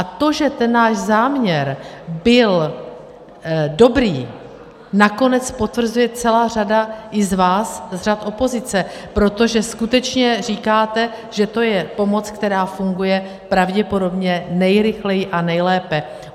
A to, že ten náš záměr byl dobrý, nakonec potvrzuje celá řada i z vás, z řad opozice, protože skutečně říkáte, že to je pomoc, která funguje pravděpodobně nejrychleji a nejlépe.